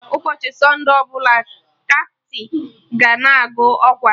Ụbọchị sọnde ọbụla, kati ga na-agụ ọkwa